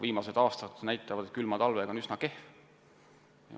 Viimased aastad näitavad, et külma talvega on lood üsna kehvasti.